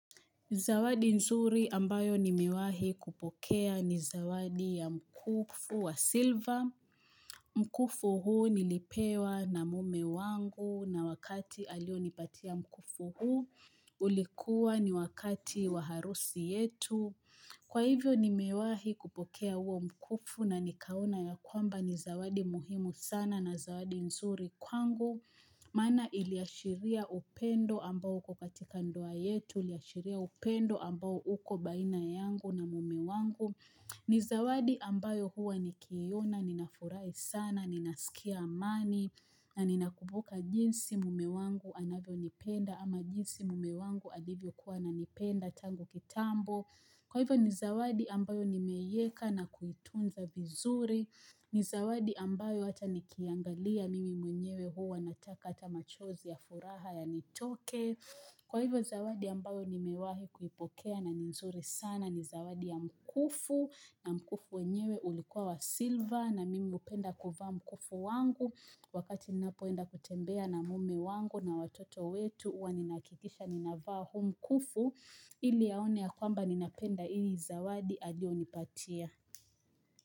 Zawadi nzuri ambayo ni mewahi kupokea ni zawadi ya mkufu wa siliva. Mkufu huu nilipewa na mume wangu na wakati alio nipatia mkufu huu. Ulikuwa ni wakati wa harusi yetu. Kwa hivyo ni mewahi kupokea huo mkufu na nikaona ya kwamba ni zawadi muhimu sana na zawadi nzuri kwangu. Maana iliashiria upendo ambao uko katika ndoa yetu, iliashiria upendo ambao uko baina yangu na mumewangu. Nizawadi ambayo huwa nikiiona, ninafurahi sana, ninasikia amani, na ninakumbuka jinsi mumewangu anavyo nipenda ama jinsi mumewangu alivyo kuwa ananipenda tangu kitambo. Kwa hivyo nizawadi ambayo nime iweka na kuitunza vizuri, nizawadi ambayo hata niki iangalia mimi mwenyewe huwa nataka hata machozi ya furaha yanitoke, kwa hivyo zawadi ambayo nimewahi kuipokea na ninzuri sana nizawadi ya mkufu na mkufu wenyewe ulikuwa wa siliva na mimi hupenda kuvaa mkufu wangu wakati ninapoenda kutembea na mume wangu na watoto wetu huwa ninahakikisha ninavaa huu mkufu. Ili aone ya kwamba ninapenda hii zawadi aliyo nipatia.